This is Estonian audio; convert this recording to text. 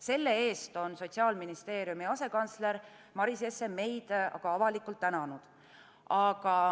Selle eest on Sotsiaalministeeriumi asekantsler Maris Jesse meid aga avalikult tänanud.